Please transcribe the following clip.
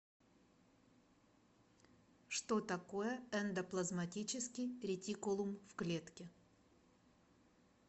что такое эндоплазматический ретикулум в клетке